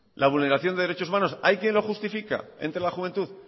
la vulneración de derechos humanos hay quien lo justifica entre la juventud